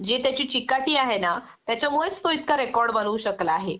जे त्याची चिकाटी आहे ना त्याच्यामुळेच तो इतका रेकॉर्ड बनवू शकला आहे